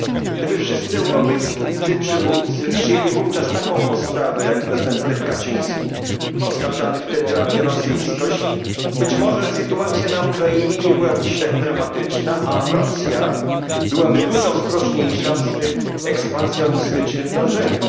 Gdyby wszyscy europejscy przywódcy przyjęli wówczas taką postawę, jak prezydent Lech Kaczyński, oskarżany wtedy o antyrosyjskość, być może sytuacja na Ukrainie nie byłaby dziś tak dramatyczna, a Rosja byłaby dużo ostrożniejsza w swych ekspansjonistycznych dążeniach.